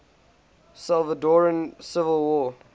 salvadoran civil war